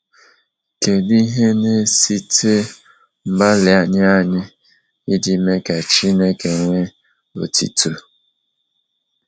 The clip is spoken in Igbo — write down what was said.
Kedu ihe na-esite n’mgbalị anyị anyị iji mee ka Chineke nwee otuto?